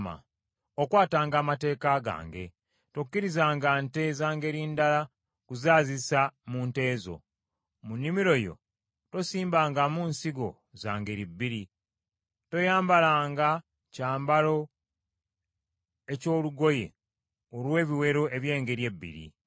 “Okwatanga amateeka gange. “Tokkirizanga nsolo za ngeri ndala kuzaazisa mu nsolo zo. “Mu nnimiro yo tosimbangamu nsigo za ngeri bbiri. “Toyambalanga kyambalo eky’olugoye olw’ebiwero eby’engeri ebbiri.